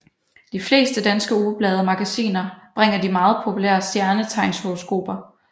De fleste danske ugeblade og magasiner bringer de meget populære stjernetegnshoroskoper